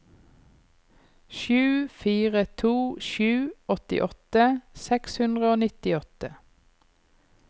sju fire to sju åttiåtte seks hundre og nittiåtte